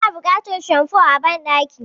Muna buƙatar shamfo a banɗaki.